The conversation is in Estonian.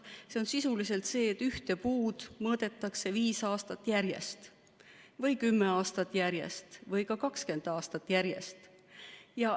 See tähendab sisuliselt, et ühte puud mõõdetakse 5 aastat järjest või 10 aastat järjest või ka 20 aastat järjest.